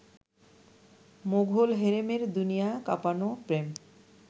মোঘল হেরেমের দুনিয়া কাঁপানো প্রেম